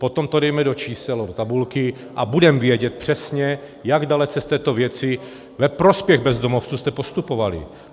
Potom to dejme do čísel do tabulky a budeme vědět přesně, jak dalece v této věci ve prospěch bezdomovců jste postupovali.